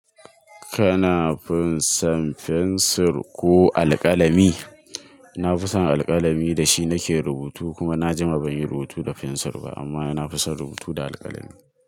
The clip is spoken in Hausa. Kana fin san fensir ko alƙalami? Na fi san alƙalami da shi na ke rubutu kuma na jima ban yi rubutu da fensir ba amma na fi son rubutu da alƙalami.